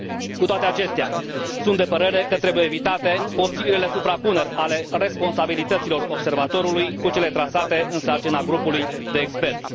Cu toate acestea, sunt de părere că trebuie evitate posibilele suprapuneri ale responsabilităților Observatorului cu cele trasate în sarcina grupului de experți.